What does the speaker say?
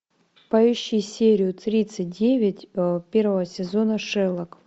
поищи серию тридцать девять первого сезона шерлок